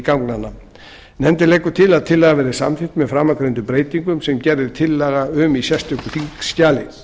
ganganna nefndin leggur til að tillagan verði samþykkt með framangreindum breytingum sem gerð er tillaga um í sérstöku þingskjali